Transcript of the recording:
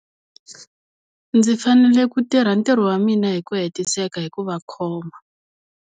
Ndzi fanele ku tirha ntirho wa mina hi ku hetiseka hi ku va khoma.